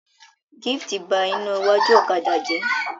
Gift n bá iná iwájú ọ̀kadà jẹ.